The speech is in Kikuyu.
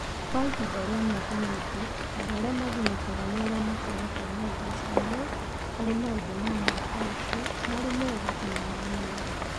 Kwa ihinda rĩa mĩaka mĩingĩ, andũ arĩa magunĩkaga nĩ arĩa makoretwo na ũgucania harĩ maũndũ ma mwaka ũcio, marĩ mega kana marĩ moru